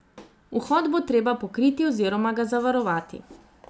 Vhod bo treba pokriti oziroma ga zavarovati.